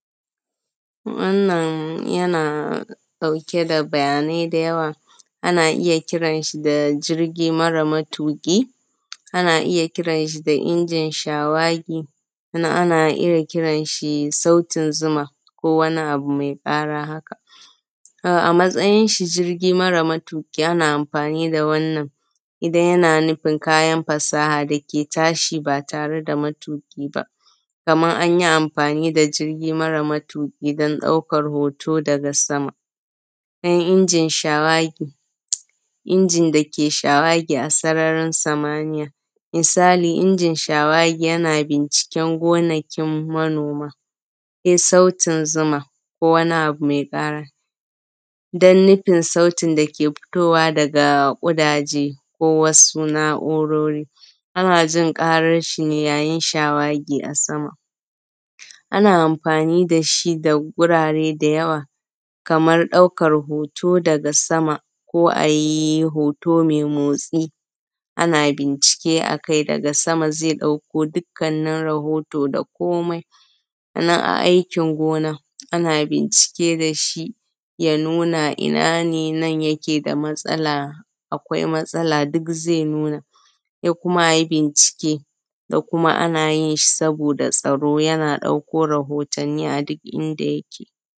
Wannan yana ɗauke da bayanai da yawa, ana iya kiran shi da jirgi mare matuƙi, ana iya kiran shi da injin shawagi, sannan ana iya kiran shi da sautin zuma ko wani abu mai ƙara haka. A matsayin shi na jirgi mare matuƙi ana amfani da wannan idan yana nufin kayan fasaha dake tashi ba tare da matuƙi ba, kaman anyi amfani da jirgi mare matuƙi don ɗaukar hoto daga sama, don injin shawagi, injin dake shawagi a sararin samaniya. Misali injin shawagi yana binciken gonakin manoma, sai sautin zuma ko wani abu mai ƙara don nufin sautin dake fitowa daga kudaje, ko wasu na’urori, ana jin karan shi ne yayin shawagi a sama. Ana amfani dashi da gurare da yawa, kamar ɗaukan hoto daga sama, ko ayi hoto mai motsi, ana bincike akai daga sama zai ɗauko dukkanin rahoto da komai. Sannan a aikin gona ana bincike dashi ya nuna a ina ne nan yike da matsa, akwai matsala duk zai nuna sai kuma ai binciki, da kuma ana shi saboda tsaro yana ɗauko rahottani a duk inda yake.